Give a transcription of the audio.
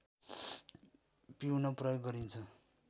पिउन प्रयोग गरिन्छ